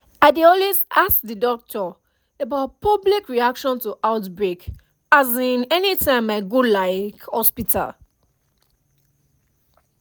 i dey always ask the doctor about public reaction to outbreak um anytym i go um hospital